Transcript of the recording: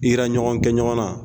Ira ɲɔgɔn kɛ ɲɔgɔn na